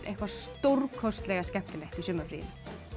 eitthvað stórkostlega skemmtilegt í sumarfríinu